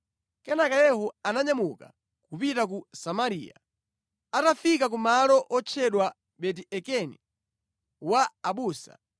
Kenaka Yehu ananyamuka kupita ku Samariya. Atafika pa malo otchedwa Beti-Ekedi wa abusa,